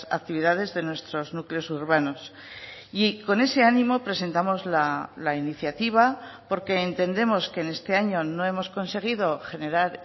actividades de nuestros núcleos urbanos y con ese ánimo presentamos la iniciativa porque entendemos que en este año no hemos conseguido generar